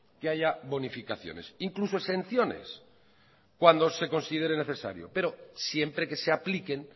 que haya bonificaciones incluso exenciones cuando se considere necesario pero siempre que se apliquen